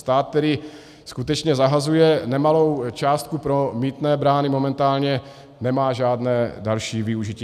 Stát tedy skutečně zahazuje nemalou částku, pro mýtné brány momentálně nemá žádné další využití.